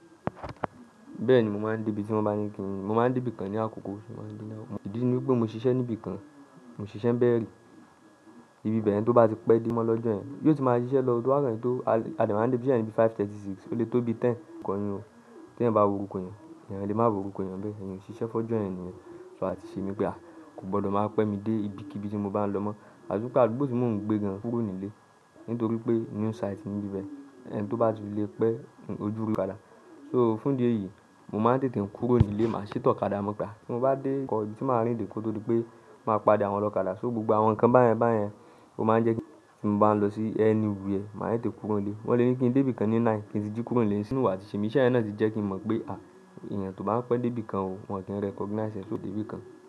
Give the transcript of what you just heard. Bẹ́ẹ̀ ni, mo máa n dí ibi tí mo bá ní kí n, mo máa n dé ibìkan ní àkókò. Ìdí ni pé mo ṣiṣẹ́ ní ibi kan, mo ṣiṣẹ́ níbẹ̀ rí. Ibi bẹ̀yẹn tó bá ti pẹ́ dé mọ́ lọ́jọ́ yẹn, yóò ti máa ṣiṣẹ́ lọ tó bá kọ ri pé o, a dẹ̀ máa n dé ibiṣẹ́ ní bí i 5:30, ó lè tó bí i 10 tí èèyàn bá wo orúkọ èèyàn, èèyàn lè má rí orúkọ níbẹ̀, èèyàn ò ṣiṣẹ́ fọ́jọ́ yẹn nìyẹn. So àtiṣe mí pé, kò gbọdọ̀ máa pẹ́ mi dé ibikíbi tí mo bá ń lọ mọ́. Àti pé àdúgbò tí mò ń gbé gan-an kúrò nílé, nítorí pé new site ní ibi bẹ́ẹ̀, ẹni tó bá ti lé pẹ́, ó dúró. So fún ìdí èyí, mo máa ń tètè kúrò nílé, máa sì tẹ ọ̀kadà mọ́. Tí mo bá dé nǹkan, tí màá rìn dé kó tó di pé máa pàdé àwọn ọlọ́kadà. So, gbogbo àwọn nǹkan báyẹn báyẹn, ó máa ń jẹ́ kí tí mo bá lọ sí anywhere, mà á tètè kúrò nílé. Wọ́n lè ní kí n dí ibi kan ní 9, kí n ti jí kúrò nílé, iṣẹ́ yẹn náà ti jẹ́ kí n mọ̀ pé, èèyàn tó bá n pẹ́ dé ibi kan ò, wọn kì í recognize ẹ lo dé ibìkan.